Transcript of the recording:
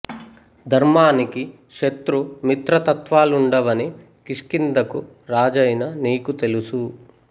ధర్మానికి శత్రు మిత్ర తత్వాలుండవని కిష్కింధకు రాజైన నీకు తెలుసు